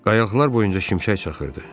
Qayalıqlar boyunca şimşək çaxırdı.